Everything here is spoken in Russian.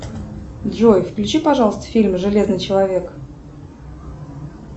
джой включи пожалуйста фильм железный человек